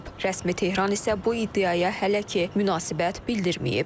Rəsmi Tehran isə bu iddiaya hələ ki, münasibət bildirməyib.